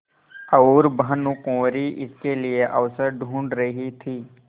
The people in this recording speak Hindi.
और भानुकुँवरि इसके लिए अवसर ढूँढ़ रही थी